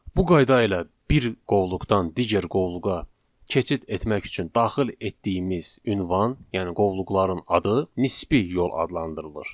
Bu qayda ilə bir qovluqdan digər qovluğa keçid etmək üçün daxil etdiyimiz ünvan, yəni qovluqların adı nisbi yol adlandırılır.